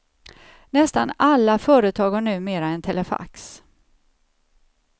Nästan alla företag har numera en telefax.